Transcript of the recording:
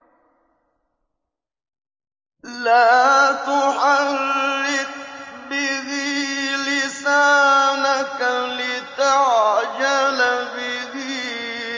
لَا تُحَرِّكْ بِهِ لِسَانَكَ لِتَعْجَلَ بِهِ